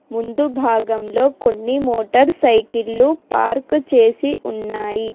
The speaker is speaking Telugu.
ముందు భాగంలో కొన్ని మోటార్ సైకిల్లు పార్కు చేసి ఉన్నాయి.